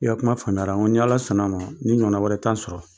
I ka kuma faamuya la n ko ni Ala sɔn n'a ma ni ɲɔgɔn wɛrɛ t'an sɔrɔ.